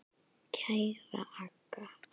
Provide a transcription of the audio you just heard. Kæra Agga.